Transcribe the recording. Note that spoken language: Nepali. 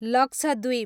लक्षद्वीप